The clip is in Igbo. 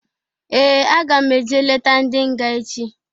Ee! Aga m eje leta ndị nga echi.